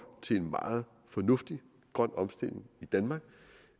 til en meget fornuftig grøn omstilling i danmark